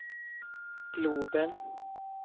globen